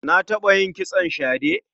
Na taɓa yin kitson shade.